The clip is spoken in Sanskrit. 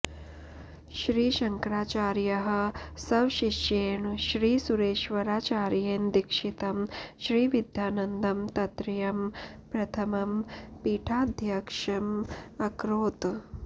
श्री श्ंकराचार्याः स्वशिष्येण श्री सुरेश्वराचार्येण दीक्षितं श्री विद्यानन्दं तत्रत्यं प्रथमं पीठाध्यक्षम् अकरोत्